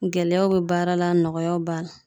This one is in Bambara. Gɛlɛyaw be baara la nɔgɔyaw b'a la.